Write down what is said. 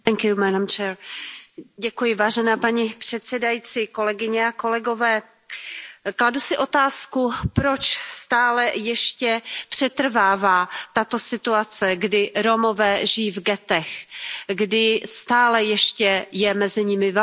Paní předsedající, kladu si otázku, proč stále ještě přetrvává tato situace, kdy Romové žijí v ghettech, kdy stále ještě je mezi nimi velká chudoba, nezaměstnanost.